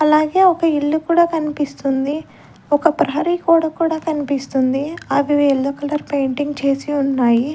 అలాగే ఒక ఇల్లు కూడా కన్పిస్తుంది ఒక ప్రహరీ గోడ కూడా కన్పిస్తుంది అవి యెల్లో కలర్ పెయింటింగ్ చేసి ఉన్నాయి.